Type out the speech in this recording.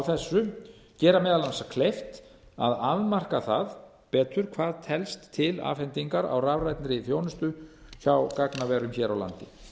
þessu gera mönnum meðal annars kleift að afmarka það betur hvað telst til afhendingar á rafrænni þjónustu hjá gagnaverum hér á landi